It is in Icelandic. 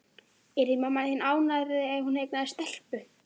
Yrði mamma þín ánægðari ef hún eignaðist stelpu?